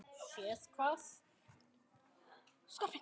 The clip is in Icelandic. Séð hvað?